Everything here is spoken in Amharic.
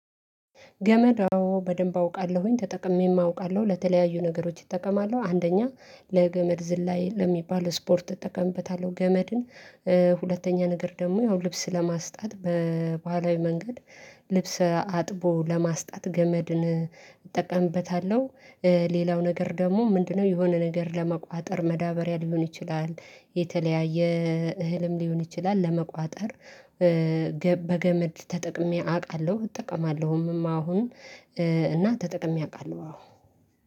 ገመድ አዎ በደንብ አውቃለሁኝ ተጠቅሜም አውቃለሁ ለተለያዩ ነገሮች ይጠቀማሉ። አንደኛ ለገመድ ዝላይ ለሚባል ስፖርት እጠቀምበታለሁ። ገመድን ሁለተኛ ነገር ደግሞ ያው ልብስ ለማስጣት በባህላዊ መንገድ ልብስ አጥቦ ለማስጣት ገመድን እጠቀምበታለሁ። ሌላው ነገር ደግሞ ምንድነው? የሆነ ነገር ለመቋጠር መዳበሪያ ሊሆን ይችላል። የተለያየ እህልም ሊሆን ይችላል ለመቋጠር። በገመድ ተጠቅሜ አውቃለሁ እጠቀማለሁም አሁን። እና ተጠቅሜ አውቃለሁ አዎ